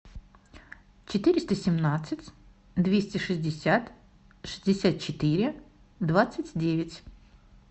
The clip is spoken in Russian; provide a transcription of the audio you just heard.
четыреста семнадцать двести шестьдесят шестьдесят четыре двадцать девять